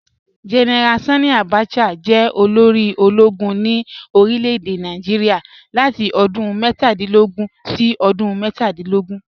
General Sanni Abacha jẹ́ olórí ọlọ́gùn ní orílẹ̀-èdè Nàìjíríà látì odún mẹ́tàdìnlógún sí odún mẹ́tàdìnlógún